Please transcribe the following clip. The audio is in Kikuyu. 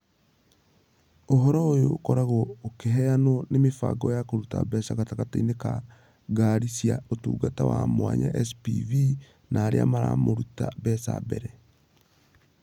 Ũhoro ũyũ ũkoragwo ũkĩheanwo nĩ mĩbango ya kũruta mbeca gatagatĩinĩ ka Ngari cia Ũtungata wa Mwanya (SPV) na arĩa maramũrĩte mbeca mbere.